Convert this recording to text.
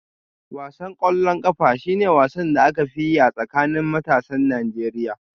Wasan ƙwallon ƙafa shi ne wasan da aka fi yi a tsakanin matasan Najeriya